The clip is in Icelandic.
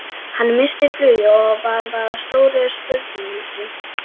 Hann missti flugið og varð að stóru spurningamerki.